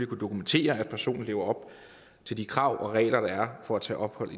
kunne dokumentere at personen lever op til de krav og regler der er for at tage ophold